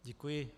Děkuji.